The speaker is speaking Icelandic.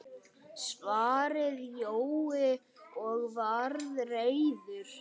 svaraði Jói og var reiður.